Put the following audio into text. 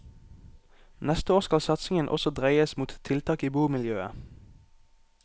Neste år skal satsingen også dreies mot tiltak i bomiljøet.